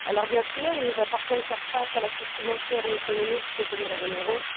Bien sûr, il nous appartient de faire face à la crise financière et économique que connaît la zone euro.